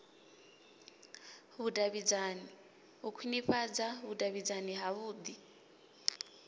vhudavhidzani u khwinifhadza vhudavhidzani havhui